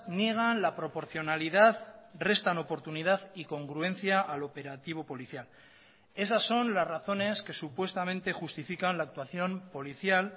niegan la proporcionalidad restan oportunidad y congruencia al operativo policial esas son las razones que supuestamente justifican la actuación policial